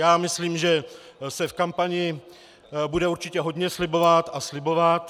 Já myslím, že se v kampani bude určitě hodně slibovat a slibovat.